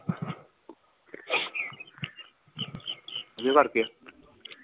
ਇਦੇ ਕਰਕੇ